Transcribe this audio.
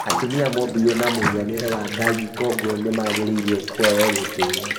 Atumia mombirwo na mũhianĩre wa Ngai, kwoguo nĩmagĩrĩirwo kũheo gĩtĩo